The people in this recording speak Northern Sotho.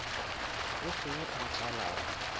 o fe yo a tlolago